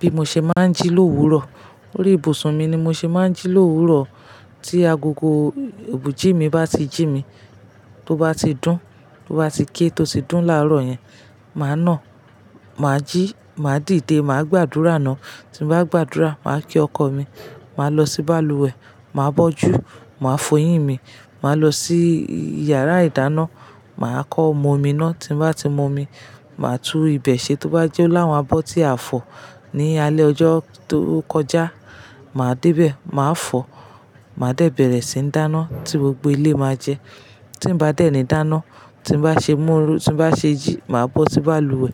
Bí mo ṣe máa ń jí l'òwúrò. Lórí ibùsùn mi ni mo ṣe máa ń jí l'òwúrò. Tí agogo obiji mi bá ti jí mi, tó bá ti dún, tó bá ti ké tó ti dún láàárọ̀ yẹn, màá nà, màá jí, màá dìde, màá gbàdúrà ná. Tí mo bá gbàdúrà, màá kí ọkọ mi, màá lọ sí balùwẹ̀, màá bọ́jú, màá foyín mi, màá lọ sí íyàrá-ìdáná, màá kọ́ omo mi ná. Tí n mbá ti mo mi, màá tú ibẹ̀ ṣe tó bá jẹ́ láwọn abọ́ tí a fọ̀ ní alẹ́ ọjọ́ tó kọjá, màá débẹ̀, màá fọ̀, màá dẹ́bẹ̀rẹ̀ síi ń dáná tí gbogbo ilé máa jẹ. Tí m bá déni dáná, tí m bá ṣe múru, tí mo bá ṣe jí, màá bọ́ sí balùwẹ̀,